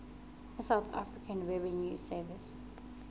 ya south african revenue service